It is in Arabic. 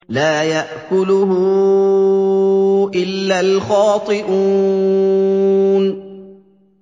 لَّا يَأْكُلُهُ إِلَّا الْخَاطِئُونَ